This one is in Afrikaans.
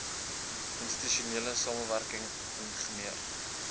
institusionele samewerk ing